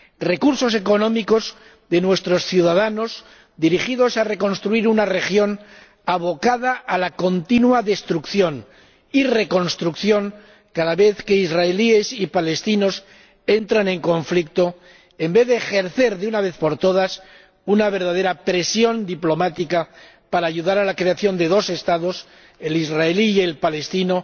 Recursos económicos de nuestros ciudadanos, dirigidos a reconstruir una región abocada a la continua destrucción y reconstrucción cada vez que israelíes y palestinos entran en conflicto, en vez de ejercer, de una vez por todas, una verdadera presión diplomática para ayudar a la creación de dos Estados, el israelí y el palestino